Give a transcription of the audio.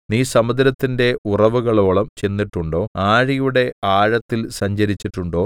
നീ സമുദ്രത്തിന്റെ ഉറവുകളോളം ചെന്നിട്ടുണ്ടോ ആഴിയുടെ ആഴത്തിൽ സഞ്ചരിച്ചിട്ടുണ്ടോ